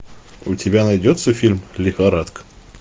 у тебя найдется фильм лихорадка